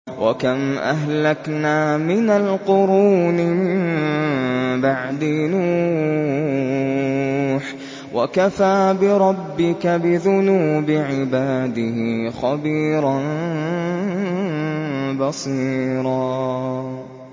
وَكَمْ أَهْلَكْنَا مِنَ الْقُرُونِ مِن بَعْدِ نُوحٍ ۗ وَكَفَىٰ بِرَبِّكَ بِذُنُوبِ عِبَادِهِ خَبِيرًا بَصِيرًا